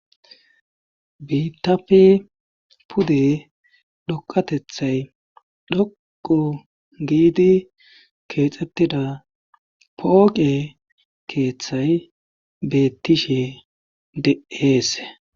Biittape pude dhpqqatethay dhoqqu giidi keexettida pooqe keethay beettishe de7eesse.